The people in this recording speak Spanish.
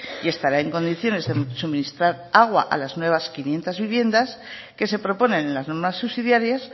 y estará en condiciones de suministrar agua a las nuevas quinientos viviendas que se proponen en las normas subsidiarias